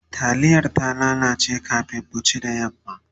taliyar ta lalace kamin mu ci da yamma